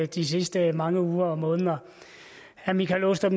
de sidste mange uger og måneder herre michael aastrup